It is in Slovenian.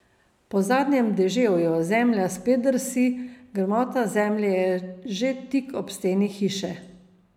Po zadnjem deževju zemlja spet drsi, gmota zemlje je že tik ob steni hiše.